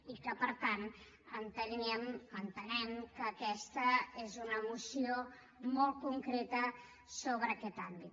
i per tant entenem que aquesta és una moció molt concreta sobre aquest àmbit